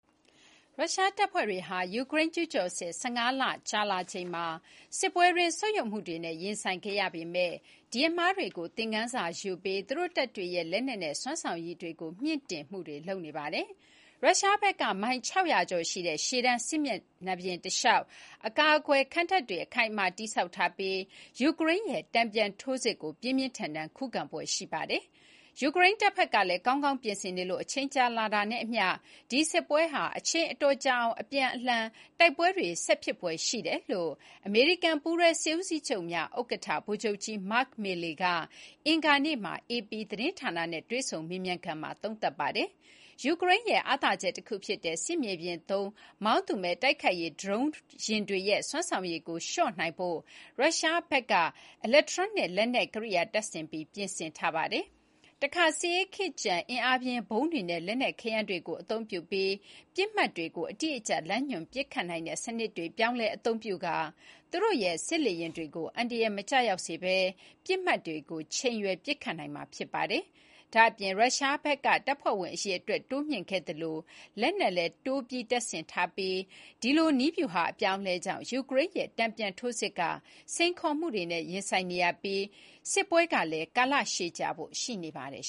ရုရှားတပ်ဖွဲတွေဟာ ယူကရိန်းကျူးကျော်စစ် ၁၅ လ ကြာလာချိန်မှာ စစ်ပွဲတွင်း ဆုတ်ယုတ်မှုတွေနဲ့ ရင်ဆိုင်ခဲ့ရပေမယ့် ဒီအမှားတွေကို သင်ခန်းစားယူပြီး သူတို့တပ်တွေရဲ့ လက်နက်နဲ့ စွမ်းဆောင်ရည်တွေကို မြှင့်တင်နေပါတယ်။ ရုရှားဘက်က မိုင် ၆၀၀ ကျော်ရှိတဲ့ ရှေ့တန်း စစ်မျက်နှာပြင်တလျှောက် အကာအကွယ် ခံတပ်တွေ အခိုင်အမာ တည်ဆောက်ထားပြီး ယူကရိန်းရဲ့ တန်ပြန်ထိုးစစ်ကို ပြင်းပြင်းထန်ထန် ခုခံဖွယ်ရှိနေပါတယ်။ ယူကရိန်းတပ်ဖက်ကလည်း ကောင်းကောင်းပြင်ဆင်နေလို့ အချိန်ကြာလာတာနဲ့အမျှ ဒီစစ်ပွဲဟာ အချိန်အတော်ကြာအောင် အပြန်ပြန်အလှန်လှန် တိုက်ပွဲတွေ ဆက်ဖြစ်ဖွယ်ရှိတယ်လို့ အမေရိကန် ပူးတွဲစစ်ဦးစီးချုပ်များ ဥက္ကဋ္ဌ ဗိုလ်ချုပ်ကြီး Mark Milley က အင်္ဂါနေ့မှာ AP သတင်းဌာနနဲ့ တွေ့ဆုံမေးမြန်းခန်းမှာ သုံးသပ်ိ ပါတယ်။ ယူကရိန်းရဲ့ အားသာချက်တခု ဖြစ်တဲ့ စစ်မြေပြင်သုံးမောင်းသူမဲ့ တိုက်ခိုက်ရေး ဒရုန်းတွေရဲ့ စွမ်းဆောင်ရည်ကို လျှော့နိုင်ဖို့ ရုရှားဘက်ကဘက်က အီလက်ထရွန်းနစ် လက်နက်ကိရိယာ တပ်ဆင်ပြီး ပြင်ဆင်ထားပါတယ်။ တခါ စစ်အေးခေတ်ကျန် အင်အားပြင်း ဗုံးတွေနဲ့ လက်နက်ခဲယမ်းတွေကို အသုံးပြုပြီး ပစ်မှတ်တွေကိုအတိအကျလမ်းညွှန် ပစ်ခတ်နိုင်တဲ့စနစ်တွေ ပြောင်းလဲအသုံးပြုပြီး သူတို့ရဲ့ စစ်လေယာဉ်တွေကို အန္တရာယ် မကျရောက်စေဘဲ ပစ်မှတ်တွေကို ချိန်ရွယ် ပစ်ခတ်နိုင်မှာ ဖြစ်ပါတယ်။ ဒါ့အပြင် ရုရှားဖက်က တပ်ဖွဲ့ဝင်အရေအတွက် တိုးမြှင့်ခဲ့သလို လက်နက်လည်း တိုးတပ်ဆင်ထားပြီး ဒီလို နည်းဗျူဟာ အပြောင်းအလဲကြောင့် ယူကရိန်းရဲ တန်ပြန်ထိုးစစ်က စိန်ခေါ် မှုတွေနဲ့ ရင်ဆိုင်နေရပြီး စစ်ပွဲကလည်း ကာလရှည်ကြာဖို့လည်း ရှိနေပါတယ်